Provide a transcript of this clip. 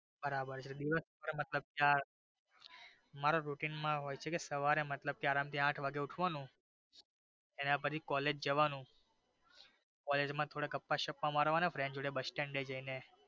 બરાબર છે દિવસ માં મારે routine માં સવારે મતલબ કે આરામ થી આઠ વાગે ઉઠવાનું પછી કોલેજ જવાનું કોલેજ માં થોડાક ગપ્પાં સપ્પા મારવાના friend જોડે બસ stand એ જઈ ને.